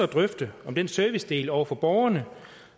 drøfte om den servicedel over for borgerne